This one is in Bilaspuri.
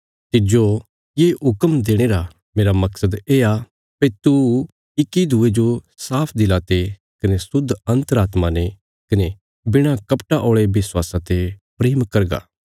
तिज्जो ये हुक्म देणे रा मेरा मकसद येआ भई तू इक्की दूये जो साफ दिला ते कने शुद्ध अन्तरात्मा ने कने बिणा कपटा औल़े विश्वासा ते प्रेम करगा